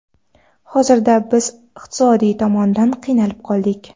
Hozirda biz iqtisodiy tomondan qiynalib qoldik.